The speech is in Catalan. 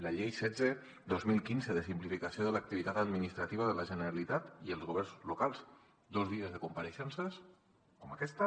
la llei setze dos mil quinze de simplificació de l’activitat administrativa de la generalitat i els governs locals dos dies de compareixences com aquesta